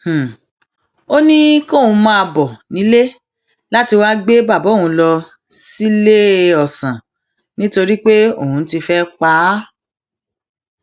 um ó ní kóun máa um bọ nílé láti wáá gbé bàbá òun lọ síléeọsán nítorí pé òun ti fẹẹ pa á